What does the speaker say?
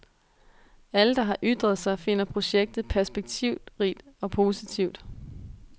Alle der har ytret sig finder projektet perspektivrigt og positivt.